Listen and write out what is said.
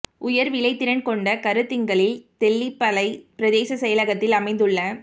உயர் விளைதிறன் கொண்ட கருத்திங்களில் தெல்லிப்பளை பிரதேச செயலகத்தில் அமைந்துள்ள